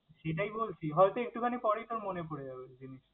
সেটাই বলছি, হয়তো একটুখানি পরেই তোর মনে পরে যাবে জিনিসটা।